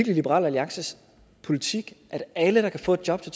er liberal alliances politik at alle der kan få et job til